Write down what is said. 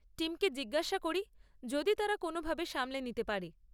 টিমকে জিজ্ঞেস করি যদি তারা কোনোভাবে সামলে নিতে পারে।